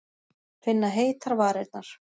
Finna heitar varirnar.